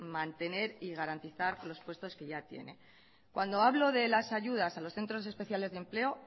mantener y garantizar los puestos que ya tiene cuando hablo de las ayudas a los centros especiales de empleo